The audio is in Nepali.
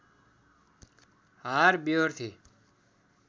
हार व्यहोर्थे